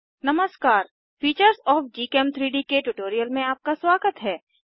नमस्कारFeatures O F gchem3डी के इस ट्यूटोरियल में आपका स्वागत है